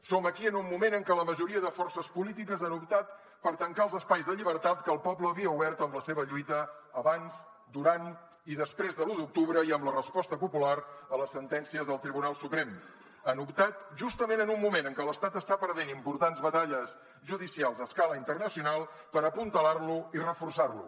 som aquí en un moment en què la majoria de forces polítiques han optat per tancar els espais de llibertat que el poble havia obert en la seva lluita abans durant i després de l’u d’octubre i amb la resposta popular a les sentències del tribunal suprem han optat justament en un moment en què l’estat està perdent importants batalles judicials a escala internacional per apuntalar lo i reforçar lo